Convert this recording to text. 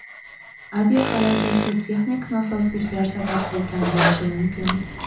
Aviahalokatga texnik nosozliklar sabab bo‘lgan bo‘lishi mumkin.